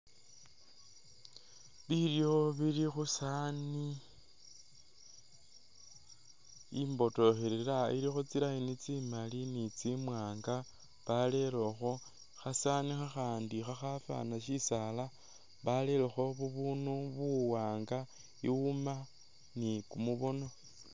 Bilyo bili khusani imbotokelela ilikho tsi'line tsimali ni tsimwanga barelekho khasanu khakhandi khakhafana shisala barelekho bubundu buwanga iwuma ni kumubono.